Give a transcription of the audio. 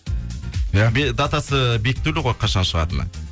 иә датасы бекітулі ғой қашан шығатыны